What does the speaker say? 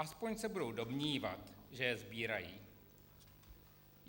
Aspoň se budou domnívat, že je sbírají.